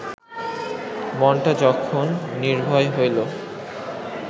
মনটা যখন নির্ভয় হইল